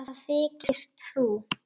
Hvað þykist þú.